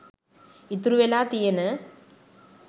ඉතුරු වෙලා තියෙන